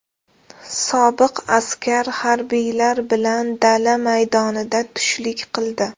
Sobiq askar harbiylar bilan dala maydonida tushlik qildi.